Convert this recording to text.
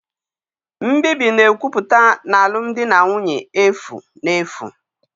Nbibi na-ekwupụta na alụmdi na nwunye efu na efu